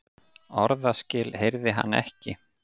Orðaskil heyrði hann ekki.